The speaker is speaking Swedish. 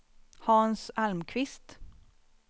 Hans Almqvist